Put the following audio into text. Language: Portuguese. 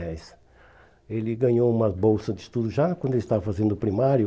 dez. Ele ganhou uma bolsa de estudo já quando ele estava fazendo o primário.